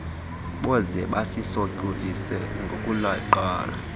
boze bazisokolise ngokuleqa